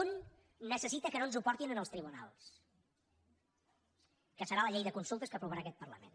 un necessita que no ens ho portin als tribunals que serà la llei de consultes que aprovarà aquest parlament